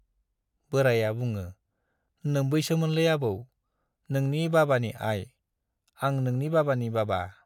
बोराइया बुङो, नोम्बैसोमोनलै आबौ, नोंनि बाबानि आइ, आं नोंनि बाबानि बाबा।